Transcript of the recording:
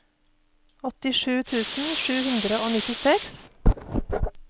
åttisju tusen sju hundre og nittiseks